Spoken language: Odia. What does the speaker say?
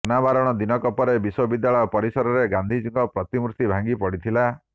ଅନାବରଣର ଦିନକ ପରେ ବିଶ୍ୱବିଦ୍ୟାଳୟ ପରିସରରେ ଗାନ୍ଧିଜୀଙ୍କ ପ୍ରତିମୂର୍ତି ଭାଙ୍ଗି ପଡିଥିଲା